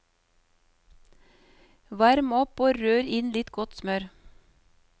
Varm opp og rør inn litt godt smør.